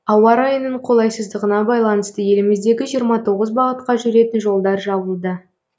ауа райының қолайсыздығына байланысты еліміздегі жиырма тоғыз бағытқа жүретін жолдар жабылды